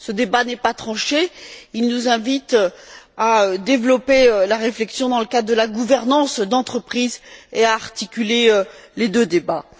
Ce débat n'est pas tranché il nous invite à développer la réflexion dans le cadre de la gouvernance d'entreprise et à articuler les deux débats.